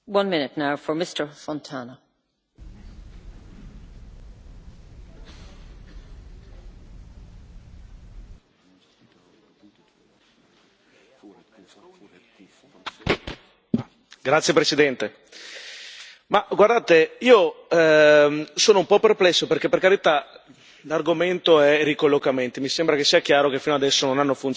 Signora Presidente, onorevoli colleghi, ma guardate, io sono un po' perplesso perché, per carità, l'argomento è il ricollocamento e mi sembra che sia chiaro che fino ad ora non abbia funzionato molto, ma nella realtà dei fatti noi parliamo di un piccolo pezzetto di un problema molto più grande, che se fosse solo quello dei ricollocamenti sarebbe una cosa molto positiva, quasi.